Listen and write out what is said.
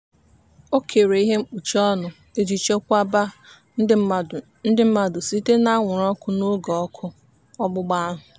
o kere ihe mkpuchi ọnụ iji chekwaba ndị mmadụ ndị mmadụ site n'anwụrụ ọkụ n'oge ọkụ ọgbụgba ahụ.